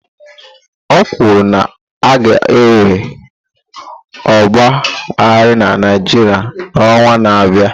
O kwuru na a ga-enwe ọgba aghara na Naịjirịa n'ọnwa na-abịa?